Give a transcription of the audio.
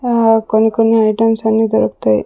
అ కొన్ని కొన్ని ఐటమ్స్ అన్ని దొరుకుతాయి.